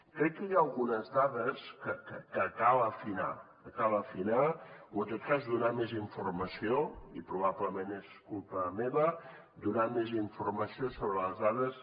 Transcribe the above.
crec que hi ha algunes dades que cal afinar que cal afinar o en tot cas donar més informació i probablement és culpa meva sobre les dades